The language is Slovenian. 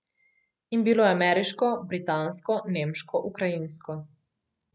In bilo je ameriško, britansko, nemško, ukrajinsko.